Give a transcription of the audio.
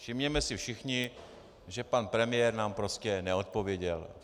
Všimněme si všichni, že pan premiér nám prostě neodpověděl.